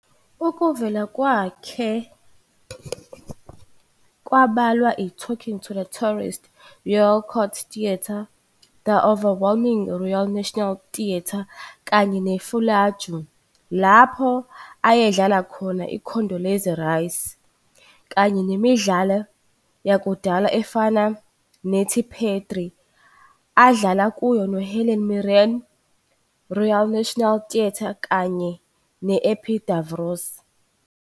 Ukuvela kwakhe kubalwa i- "Talking to Terrorists", Royal Court Theatre, "The Overwhelming", Royal National Theatre, kanye ne- "Fallujah", lapho ayedlala khona i- Condoleezza Rice, kanye nemidlalo yakudala efana "nethi Phedre", adlala kuyo noHelen Mirren, Royal National Theatre., kanye ne- "Epidavros."